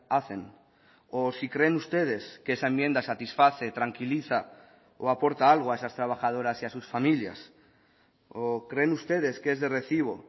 hacen o si creen ustedes que esa enmienda satisface tranquiliza o aporta algo a esas trabajadoras y a sus familias o creen ustedes que es de recibo